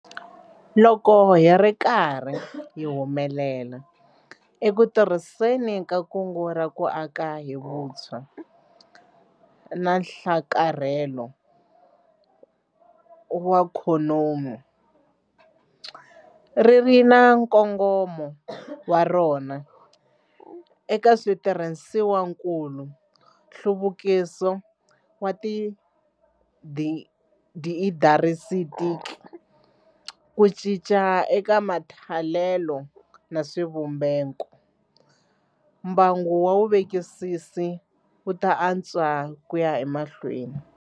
Loko hi ri karhi hi humelela eku tirhiseni ka Kungu ra ku Aka hi Vutshwa na Nhlakarhelo wa Ikhonomi - ri ri na nkongomo wa rona eka switirhisiwakulu, nhluvukiso wa tiindarisitiki, ku cinca eka matholelo na swivumbeko - mbangu wa vuvekisisi wu ta antswa ku ya emahlweni.